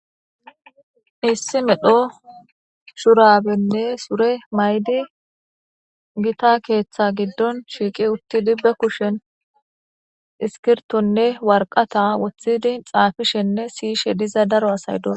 issi medho shurabenne sure maydi gita keeththa giddon shiiqi utti dibbe kushen iskirtonne warqata wothidi xaafishenne siyishe diza daro asay dora